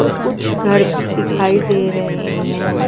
और कुछ घर भी दिखाई दे रहे हैं।